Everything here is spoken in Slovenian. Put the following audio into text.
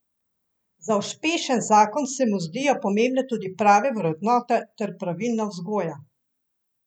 Za uspešen zakon se mu zdijo pomembne tudi prave vrednote ter pravilna vzgoja.